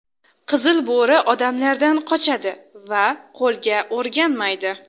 Qizil bo‘ri odamlardan qochadi va qo‘lga o‘rganmaydi.